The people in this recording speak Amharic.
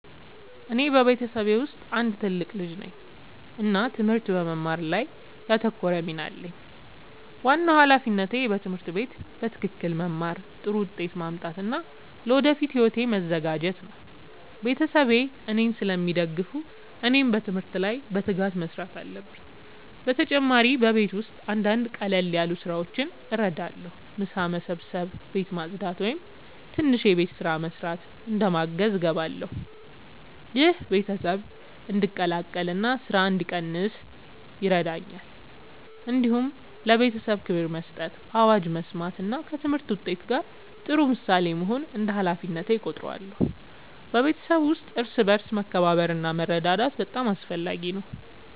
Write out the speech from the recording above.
እኔ በቤተሰቤ ውስጥ አንድ ትልቅ ልጅ ነኝ እና ትምህርት በመማር ላይ ያተኮረ ሚና አለኝ። ዋናው ሃላፊነቴ በትምህርት ቤት በትክክል መማር፣ ጥሩ ውጤት ማምጣት እና ለወደፊት ሕይወቴ መዘጋጀት ነው። ቤተሰቤ እኔን ስለሚደግፉ እኔም በትምህርት ላይ በትጋት መስራት አለብኝ። በተጨማሪ በቤት ውስጥ አንዳንድ ቀላል ስራዎችን እረዳለሁ። ምሳ መስበስ፣ ቤት ማጽዳት ወይም ትንሽ የቤት ስራ መስራት እንደ ማገዝ እገባለሁ። ይህ ቤተሰብ እንዲቀላቀል እና ስራ እንዲቀንስ ይረዳል። እንዲሁም ለቤተሰቤ ክብር መስጠት፣ አዋጅ መስማት እና ከትምህርት ውጤት ጋር ጥሩ ምሳሌ መሆን እንደ ሃላፊነቴ እቆጥራለሁ። በቤተሰብ ውስጥ እርስ በርስ መከባበር እና መረዳዳት በጣም አስፈላጊ ነው።